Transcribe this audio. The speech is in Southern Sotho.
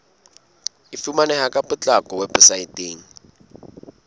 e fumaneha ka potlako weposaeteng